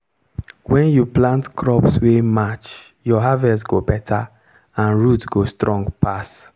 when you plant crops wey match your harvest go better and root go strong pass.